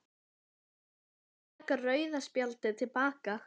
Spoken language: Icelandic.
Getum við látið taka rauða spjaldið til baka?